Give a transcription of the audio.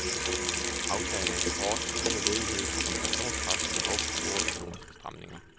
Aftagende eksport, stigende ledighed, inflationspres og behov for store økonomiske stramninger.